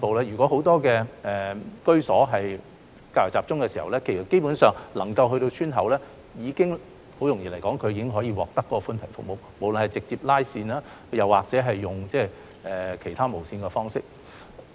如果很多居所是較為集中，基本上光纖能夠鋪設到村口，村內居民已經可以獲得寬頻服務，無論是採用直接拉線或其他無線的方式。